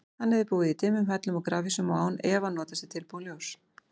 Hann hefði búið í dimmum hellum og grafhýsum og án efa notast við tilbúið ljós.